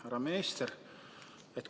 Härra minister!